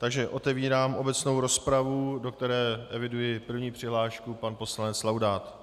Takže otevírám obecnou rozpravu, do které eviduji první přihlášku - pan poslanec Laudát.